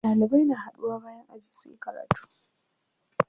Ɗalibai na haɗuwa bayan aji suyi karatu.